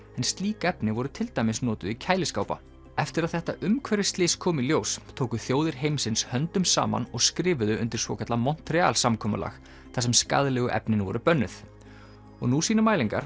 en slík efni voru til dæmis notuð í kæliskápa eftir að þetta umhverfisslys kom í ljós tóku þjóðir heimsins höndum saman og skrifuðu undir svokallað Montreal samkomulag þar sem skaðlegu efnin voru bönnuð og nú sýna mælingar